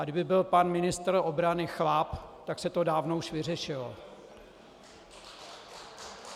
A kdyby byl pan ministr obrany chlap, tak se to dávno už vyřešilo.